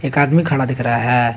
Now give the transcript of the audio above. एक आदमी खड़ा दिख रहा है।